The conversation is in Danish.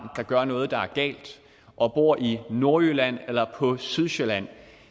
der gør noget der er galt og bor i nordjylland eller på sydsjælland